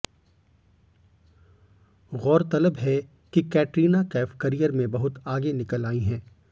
गौरतलब है कि कैटरीना कैफ करियर में बहुत आगे निकल आई हैं